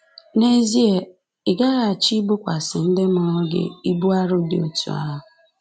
N’ezie, ị gaghị achọ ibokwasị ndị mụrụ gị ibu arọ dị otú ahụ!